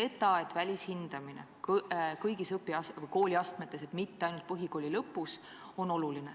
Ja ka see, et välishindamine toimub kõigis kooliastmetes, mitte ainult põhikooli lõpus, on oluline.